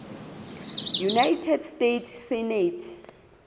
united states senate